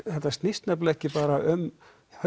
þetta snýst nefnilega ekki bara um